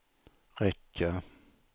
räcka